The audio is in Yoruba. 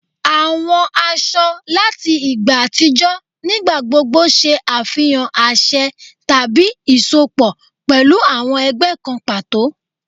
Àwọn aṣọ láti ìgbà àtijọ́ nígbà gbogbo ṣe àfihàn àṣẹ tàbí isọpọ pẹlu awọn ẹgbẹ́ kan pàtó